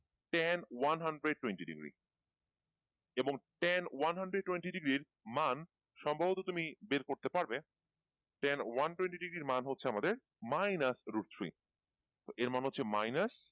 tan one hundred twenty degree এবং tan one hundred twenty degree এর মান সম্ভবত তুমি বের করতে পারবে tan one twenty degree এর মান হচ্ছে আমাদের minus route three এর মান হচ্ছে minus